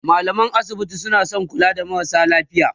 mallaman asibiti suna kula da marasa lafiya